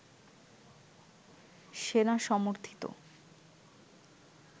সেনা-সমর্থিত